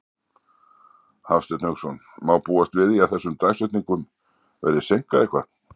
Hafsteinn Hauksson: Má búast við því að þessum dagsetningum verði seinkað eitthvað?